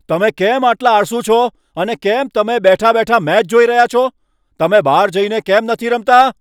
તમે કેમ આટલા આળસુ છો અને કેમ તમે બેઠા બેઠા મેચ જોઈ રહ્યા છો? તમે બહાર જઈને કેમ નથી રમતા?